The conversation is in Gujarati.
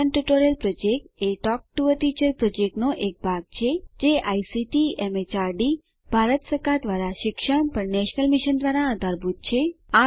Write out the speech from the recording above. spoken tutorial project a talk to a teacher પ્રોજેક્ટનો એક ભાગ છે જે આઇસીટી એમએચઆરડી ભારત સરકાર દ્વારા શિક્ષણ પર નેશનલ મિશન દ્વારા આધારભૂત છે